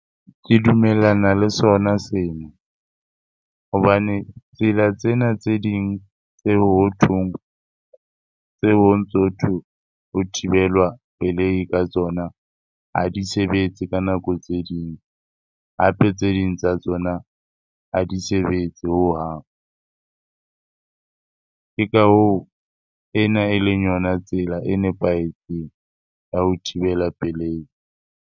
Ke dumellana le sona seno. Hobane tsela tsena tse ding tse hothong, tseo ho ntsotho ho thibelwa pelei ka tsona ha di sebetse ka nako tse ding. Hape tse ding tsa tsona ha di sebetse hohang. Ke ka hoo, ena eleng yona tsela e nepahetseng ya ho thibela pelei.